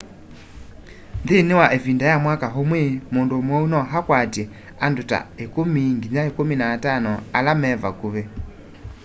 nthini wa ivinda ya mwaka umwe mundu muwau no akwatye andu ta 10 nginya 15 ala me vakuvi